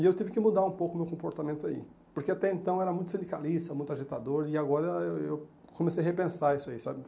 E eu tive que mudar um pouco o meu comportamento aí, porque até então era muito silicalista, muito agitador, e agora eu eu comecei a repensar isso aí, sabe?